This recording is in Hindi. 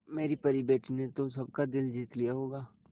मेरी परी बेटी ने तो सबका दिल जीत लिया होगा